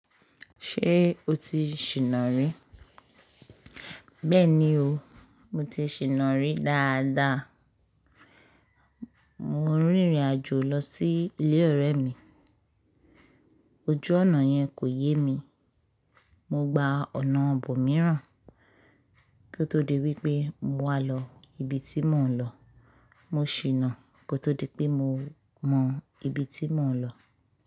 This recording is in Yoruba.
Ṣé o ti ṣìná rí? Bẹ́ẹ̀ni o, mo ti ṣìnà rí dáadáa. Mo rìnrìn-àjò lọ sí ilé ọ̀rẹ́ mi. Ojú ọ̀nà yẹn kò yé mi. Mo gba ọ̀nà bọ̀ mìíràn kó tó di wípé mo wá lọ ibi tí mò ń lọ. Mo ṣìnà kó tó di pé mo mọ ibi tí mò ń lọ.